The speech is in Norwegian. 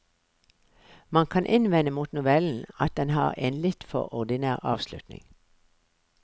Man kan innvende mot novellen at den har en litt for ordinær avslutning.